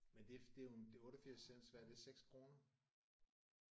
Men det det er jo en det er 88 cent så hvad er det 6 kroner